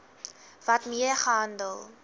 wet mee gehandel